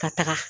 Ka taga